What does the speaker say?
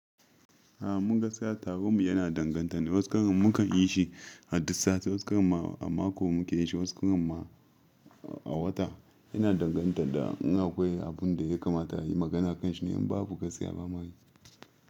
A mu gaskiya taron mu yana danganta ne. Wasu karan mukan yi shi a duk sati, wasu karin ma a mako muke yin shi, wasu karin ma a wata. Yana danganta da in akwai abun da ya kamata a yi magana a kan shi ne in babu gaskiya ba mayi.